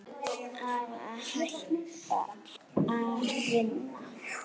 Að hætta að vinna?